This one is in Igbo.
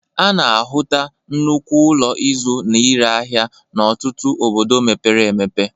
A na-ahụta nnukwu ụlọ ịzụ na ire ahia n'ọtụtụ obodo mepere emepe.